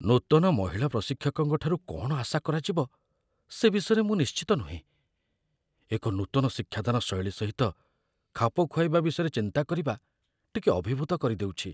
ନୂତନ ମହିଳା ପ୍ରଶିକ୍ଷକଙ୍କଠାରୁ କ'ଣ ଆଶା କରାଯିବ ସେ ବିଷୟରେ ମୁଁ ନିଶ୍ଚିତ ନୁହେଁ। ଏକ ନୂତନ ଶିକ୍ଷାଦାନ ଶୈଳୀ ସହିତ ଖାପଖୁଆଇବା ବିଷୟରେ ଚିନ୍ତା କରିବା ଟିକେ ଅଭିଭୂତ କରିଦେଉଛି।